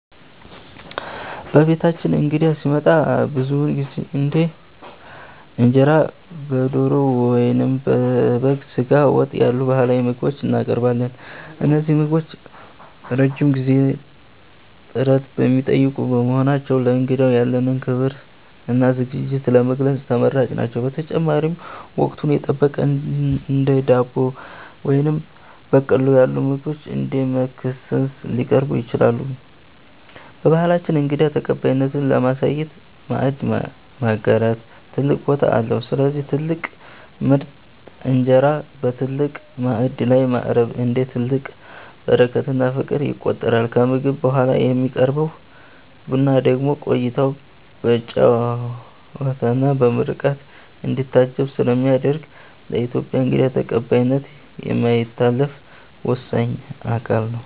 በቤታችን እንግዳ ሲመጣ ብዙውን ጊዜ እንደ እንጀራ በዶሮ ወጥ ወይም በበግ ስጋ ወጥ ያሉ ባህላዊ ምግቦችን እናቀርባለን። እነዚህ ምግቦች ረጅም ጊዜና ጥረት የሚጠይቁ በመሆናቸው፣ ለእንግዳው ያለንን ክብርና ዝግጅት ለመግለጽ ተመራጭ ናቸው። በተጨማሪም፣ ወቅቱን የጠበቁ እንደ ዳቦ ወይም በቆሎ ያሉ ምግቦች እንደ መክሰስ ሊቀርቡ ይችላሉ። በባህላችን እንግዳ ተቀባይነትን ለማሳየት "ማዕድ ማጋራት" ትልቅ ቦታ አለው፤ ስለዚህ ትልቅ ምርጥ እንጀራ በትልቅ ማዕድ ላይ ማቅረብ፣ እንደ ትልቅ በረከትና ፍቅር ይቆጠራል። ከምግብ በኋላ የሚቀርበው ቡና ደግሞ ቆይታው በጨዋታና በምርቃት እንዲታጀብ ስለሚያደርግ፣ ለኢትዮጵያዊ እንግዳ ተቀባይነት የማይታለፍ ወሳኝ አካል ነው።